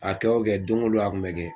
A kɛ o kɛ don ko don a kun bɛ kɛ.